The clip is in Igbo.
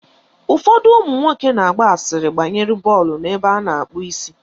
Ụfọdụ ụmụnwoke na-agba asịrị banyere bọọlụ n'ụlọ ebe a na-akpụ isi.